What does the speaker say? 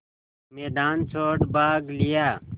मैदान छोड़ भाग लिया